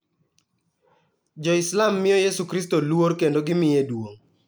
Jo-Islam miyo Yesu Kristo luor kendo gimiye duong'.